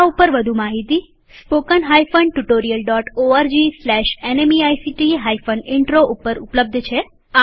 આ ઉપર વધુ માહિતી spoken hyphen tutorial dot ORG slash NMEICT hyphen intro ઉપર ઉપલબ્ધ છે